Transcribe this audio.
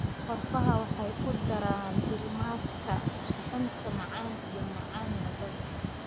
Qorfaha waxay ku daraa diirimaadka suxuunta macaan iyo macaan labadaba.